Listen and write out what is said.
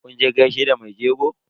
Kun je gaishe da mai jegon?